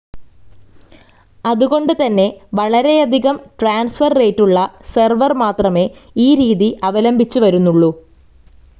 അതുകൊണ്ട് തന്നെ വളരെയധികം ട്രാൻസ്ഫർ റേറ്റുള്ള സെർവർ മാത്രമേ ഈ രീതി അവലംബിച്ച് വരുന്നുള്ളൂ.